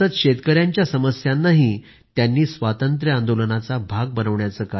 त्यांनी शेतकऱ्यांच्या समस्या स्वातंत्र्य आंदोलनाशी जोडल्या स्वातंत्र्य आंदोलनाचा भाग बनवल्या